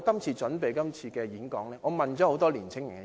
為了準備今次發言，我亦訪問了很多年青人。